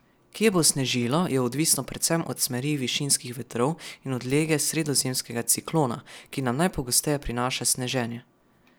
Kje bo snežilo, je odvisno predvsem od smeri višinskih vetrov in od lege sredozemskega ciklona, ki nam najpogosteje prinaša sneženje.